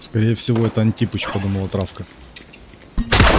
скорее всего это антипыч подумала травка